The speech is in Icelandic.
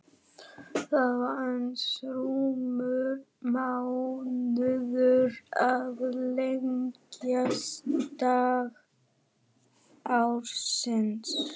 Það var aðeins rúmur mánuður í lengsta dag ársins.